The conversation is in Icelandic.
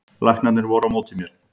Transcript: Læknarnir voru á móti mér